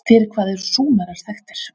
Fyrir hvað eru Súmerar þekktir?